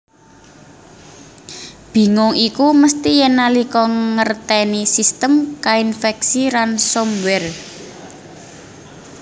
Bingung iku mesti yèn nalika ngertèni sistem kainfèksi ransomware